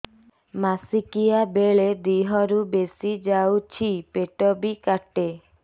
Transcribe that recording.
ମାସିକା ବେଳେ ଦିହରୁ ବେଶି ଯାଉଛି ପେଟ ବି କାଟେ